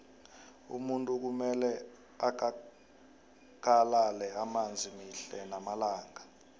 umuntu kumele akakalale amanzi mihle namalanga